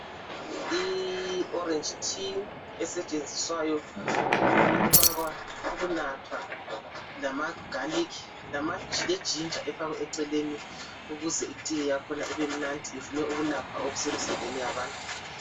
I oreji thiye esetshenziswayo ukunathwa lamagalikhi, lejinja efakwa eceleni ukuze ithiye yakhona ibe mnandi ivume ukwelapha okusemzimbeni yabantu.